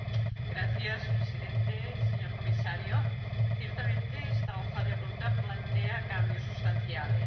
Señor Presidente, señor Comisario, ciertamente esta Hoja de Ruta plantea cambios sustanciales.